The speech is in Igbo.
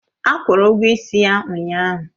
Akwụru ụgwọ ịsị ya ụnyahụ.